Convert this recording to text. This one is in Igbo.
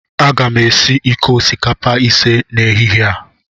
Aga m esi iko osikapa ise n'ehihie a